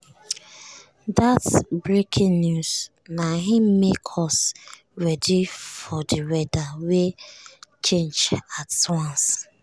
dat breaking news na im make us ready for di weather wey change at once.